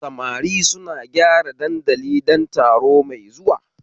Samari suna gyara dandali don taro mai zuwa